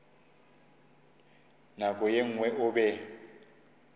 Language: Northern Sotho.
nako ye nngwe o be